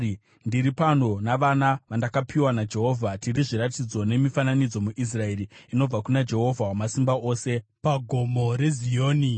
Ndiri pano, navana vandakapiwa naJehovha. Tiri zviratidzo nemifananidzo muIsraeri inobva kuna Jehovha Wamasimba Ose paGomo reZioni.